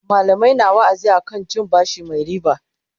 mallamai na wa'azi akan cin bashi Mai ribaa